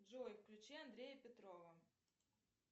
джой включи андрея петрова